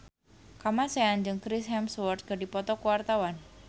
Kamasean jeung Chris Hemsworth keur dipoto ku wartawan